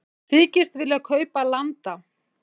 Þykjast vilja kaupa landa